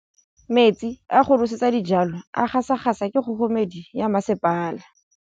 Metsi a go nosetsa dijalo a gasa gasa ke kgogomedi ya masepala.